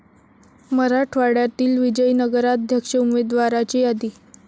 मराठवाड्यातील विजयी नगराध्यक्ष उमेदवाराची यादी